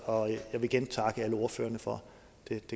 og jeg vil igen takke alle ordførerne for den